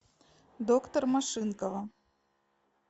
доктор машинкова